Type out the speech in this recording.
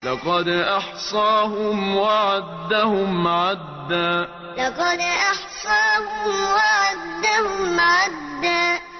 لَّقَدْ أَحْصَاهُمْ وَعَدَّهُمْ عَدًّا لَّقَدْ أَحْصَاهُمْ وَعَدَّهُمْ عَدًّا